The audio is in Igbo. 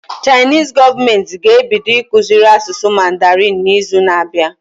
Chinese gọọmenti ga ebido ịkụziri asụsụ mandarin na izu na abịa